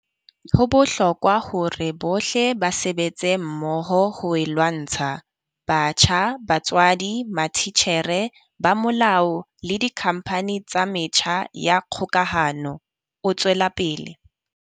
Ho bohlokwa hore bohle ba sebetse mmoho ho e lwantsha, batjha, batswadi, matitjhere, ba molao le dikhampani tsa metjha ya kgokahano, o tswela pele.